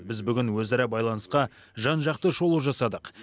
біз бүгін өзара байланысқа жан жақты шолу жасадық